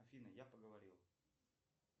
афина я поговорил